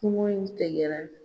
Kɔngɔ in tɛgɛra